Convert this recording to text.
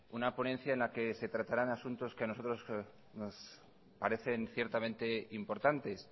una ponencia en la que se tratarán asuntos que nosotros nos parecen ciertamente importantes